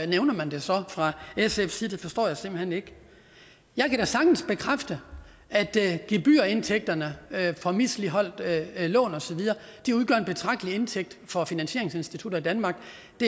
nævner man det så fra sfs side det forstår jeg simpelt hen ikke jeg kan da sagtens bekræfte at gebyrindtægterne fra misligholdte lån og så videre udgør en betragtelig indtægt for finansieringsinstitutter i danmark